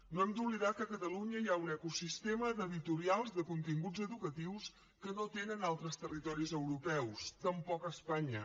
no hem d’oblidar que a catalunya hi ha un ecosistema d’editorials de continguts educatius que no tenen altres territoris europeus tampoc espanya